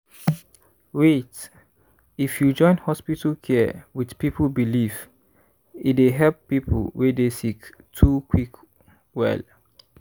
wait- if you join hospital care wit people belief e dey help people wey dey sick too quick well.